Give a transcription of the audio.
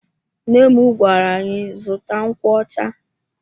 Nna m gwara anyị zụta nkwocha.